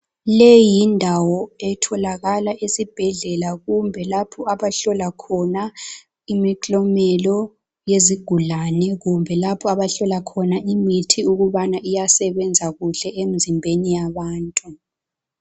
Leyi yindawo etholakala esibhedlela kumbe lapha abahlola khona imithlomelo yezigulane kumbe lapho abahlola khona imithi ibana iyasebenza kuhle emzimbeni yabantu.